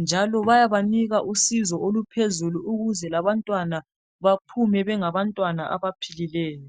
njalo bayabanika usizo oluphezulu ukuze abantwana baphume benga bantwana abaphilileyo